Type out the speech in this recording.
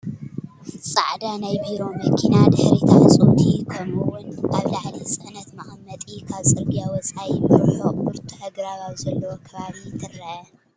ፃዕዳ ናይ ቢሮ መኪና ድሕሪታ ዕፅውቲ ከምኡ እዉን ኣብ ላዕሊ ፅዕነት መቀመጢ ካብ ፅርግያ ወፃኢ ብርሑቅ ብርቱዕ ኣግራብ ኣብ ዘለዎ ከባቢ ትርአ፡፡